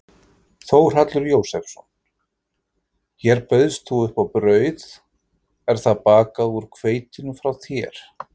Þórhallur Jósefsson: Hér bauðst þú upp á brauð, er það bakað úr hveitinu frá þér?